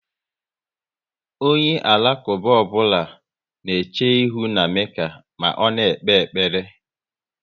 Onye Alakuba ọbụla na eche ihu na Mekka ma ọ na ekpe ekpere